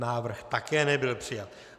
Návrh také nebyl přijat.